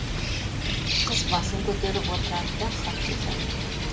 қыз басын көтеріп отырады да хат жазады